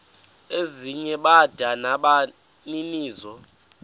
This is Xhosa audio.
ezinye bada nabaninizo